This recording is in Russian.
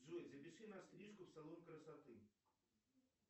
джой запиши на стрижку в салон красоты